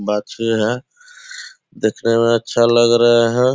बाछी है देखने में अच्छा लग रहे है।